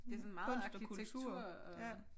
Det sådan meget arkitektur og